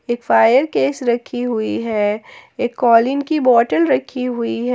एक fire case रखी हुई है एक कॉलिन की बोतल रखी हुई है।